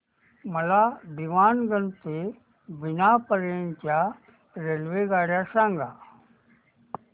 मला दीवाणगंज ते बिना पर्यंत च्या रेल्वेगाड्या सांगा